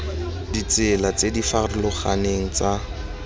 ditsela tse di farologaneng tsa